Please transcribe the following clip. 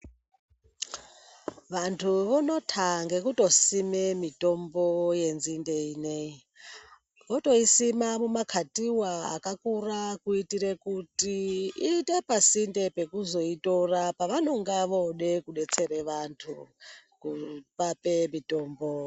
Vantu vonota ngekutosime mitombo yenzinde ineyi. Votoisima mu makatiwa akakura kuitire kuti iyite pasinde pekuzoitora pavanonga vode kudetsere vantu kuvape mitombo.